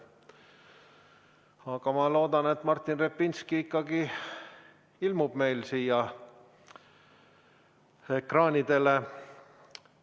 Aga ma loodan, et Martin Repinski ikkagi ilmub meil siia ekraanile.